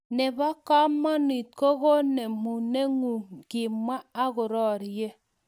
Nebo komonut kokonemunengung, kimwa akororie